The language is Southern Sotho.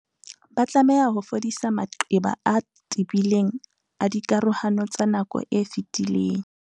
Ba tlameha ho fodisa maqeba a tebileng a dikarohano tsa nako e fetileng.